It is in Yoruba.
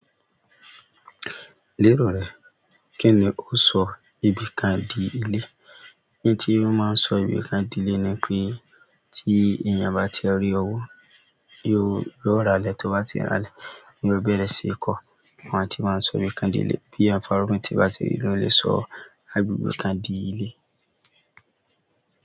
Lérò rẹ kíni ó sọ ibìkan di ilé? Ohun tí ó máa ń sọ ibìkan di ilé ni pé tí èèyàn bá ti re owó, yóò rà ilé, tó bá ti rà ilé, yóò bẹ̀rẹ̀ sí í kọ́ọ. Wọ́n àti máa ń sọ ibìkan di ilé. Bí èèyàn bá rí òfin tí bá ti rí ló lè sọ agbègbè kan di ilé.